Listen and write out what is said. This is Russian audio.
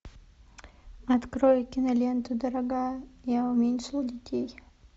открой киноленту дорогая я уменьшил детей